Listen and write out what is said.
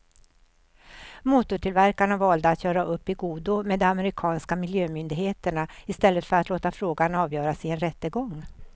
Motortillverkarna valde att göra upp i godo med de amerikanska miljömyndigheterna i stället för att låta frågan avgöras i en rättegång.